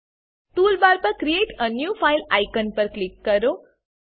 toolbar પર create a new file icon પર click કરો